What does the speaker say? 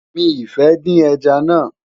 mí fẹ dín ẹja nà